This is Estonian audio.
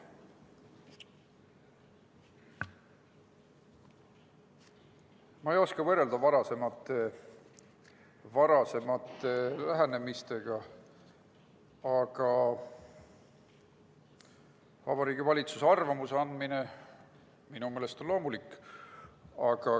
Ma ei oska võrrelda varasema lähenemisega, Vabariigi Valitsuse arvamuse andmine on minu meelest loomulik.